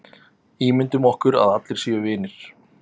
Ímyndum okkur að allir séu vinir.